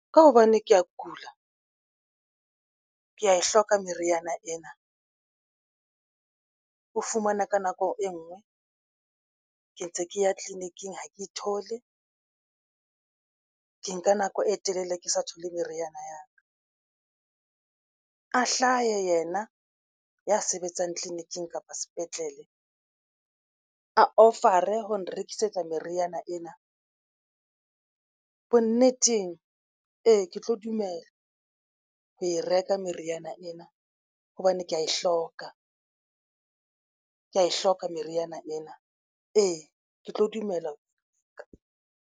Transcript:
Ka hobane ke ya kula ke ya e hloka meriana ena o fumane ka nako e ngwe ke ntse ke ya tleliniking ha ke e thole ke nka nako e telele ke sa thole meriana ya hlahe yena ya sebetsang tleliniking kapa sepetlele a cover ho nrekisetsa meriana ena. Bonneteng ee, ke tlo dumella ho e reka meriana ena hobane ke ya e hloka ke ya e hloka meriana ena ee, ke tlo dumela.